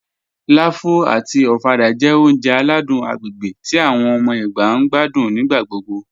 Láfù àti ọ̀fàdà jẹ́ ọ̀uǹjẹ̀ aládùn agbègbè tí awọn ọmọ Ẹgba ǹ gbàdún nígbàgbọ́gbọ́